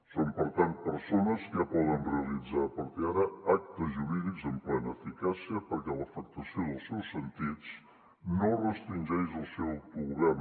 són per tant persones que ja poden realitzar a partir d’ara actes jurídics amb plena eficàcia perquè l’afectació dels seus sentits no restringeix el seu autogovern